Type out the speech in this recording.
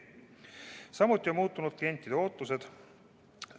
Samuti on muutunud klientide ootused.